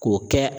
K'o kɛ